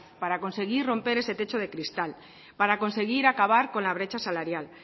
para conseguir romper ese techo de cristal para conseguir acabar con la brecha salarial